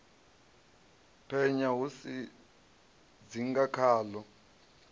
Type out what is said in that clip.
penya ho sa dzinga khaḽo